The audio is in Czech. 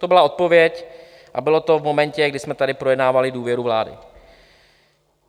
To byla odpověď a bylo to v momentě, kdy jsme tady projednávali důvěru vládě.